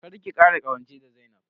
Kar ki kara ƙawance da Zainab.